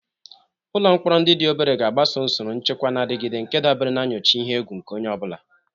Ụlọ mkpọrọ ndị dị obere ga-agbaso usoro nchekwa na-adigide nke dabere na nyocha ihe egwu nke onye ọ bụla.